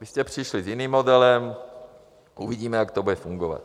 Vy jste přišli s jiným modelem, uvidíme, jak to bude fungovat.